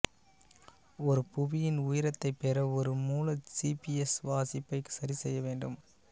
ஒரு புவியின் உயரத்தை பெற ஒரு மூல ஜிபிஎஸ் வாசிப்பை சரி செய்ய வேண்டும்